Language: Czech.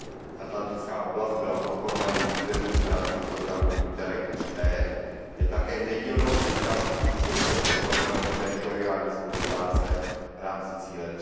Oblast Atlantského oceánu byla podporovaným územím v rámci programu INTERREG III B, je také nedílnou součástí současného programu teritoriální spolupráce v rámci cíle